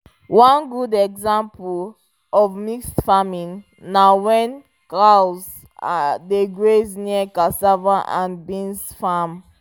one good better example of mixed farming na when cows dey graze near cassava and beans farm